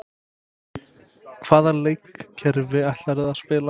Hvaða leikkerfi ætlarðu að spila?